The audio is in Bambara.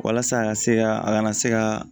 Walasa a ka se ka a kana se ka